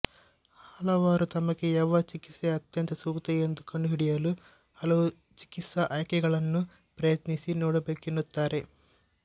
ಹಲವರು ತಮಗೆ ಯಾವ ಚಿಕಿತ್ಸೆ ಅತ್ಯಂತ ಸೂಕ್ತ ಎಂದು ಕಂಡುಹಿಡಿಯಲು ಹಲವು ಚಿಕಿತ್ಸಾ ಆಯ್ಕೆಗಳನ್ನು ಪ್ರಯತ್ನಿಸಿ ನೋಡಬೇಕೆನ್ನುತ್ತಾರೆ